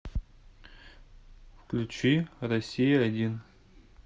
включи россия один